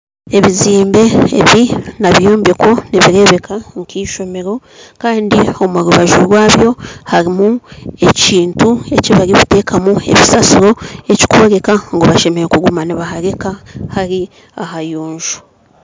Ebizimbe ebi n'ebyombeko nibirebeeka nka ishomero kandi omurubaju rwabyo harimu ekintu eki barikuteekamu ebisaasiro ekirikworeka ngu baine kuguma nibahareeka hari ahayonjo